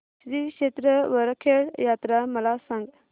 श्री क्षेत्र वरखेड यात्रा मला सांग